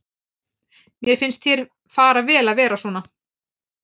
Mér finnst þér fara vel að vera svona.